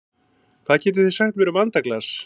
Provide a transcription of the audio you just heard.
Hvað getið þið sagt mér um andaglas?